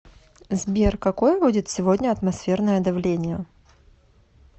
сбер какое будет сегодня атмосферное давление